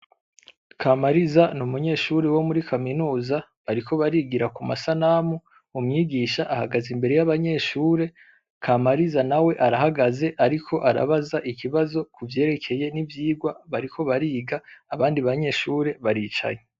Kamariza n'umunyeshure wo muri kaminuza, bariko barigira ku masanamu, umwigisha ahagaze imbere y'abanyeshure, Kamariza nawe arahagaze ariko arabaza ikibazo kuvyerekeye n'ivyigwa bariko bariga abandi banyeshure baricaye.